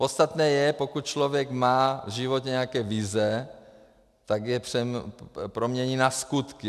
Podstatné je, pokud člověk má v životě nějaké vize, tak je promění na skutky.